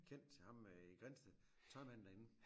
Kent ham øh i Grindsted tøjmanden derinde